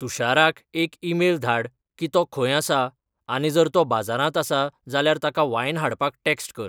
तुशाराक एक ईमेल धाड की तो खंय आसा आनी जर तो बाजारांत आसा जाल्यार ताका वाइन हाडपाक टॅक्स्ट कर